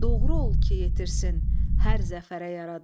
Doğru ol ki yetirsin hər zəfərə yaradan.